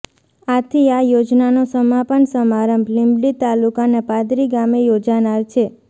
આથી આ યોજનાનો સમાપન સમારંભ લીંબડી તાલુકાના પાંદરી ગામે યોજાનાર છે